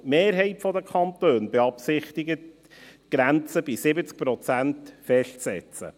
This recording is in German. Die Mehrheit der Kantone beabsichtigt, die Grenze bei 70 Prozent festzusetzen.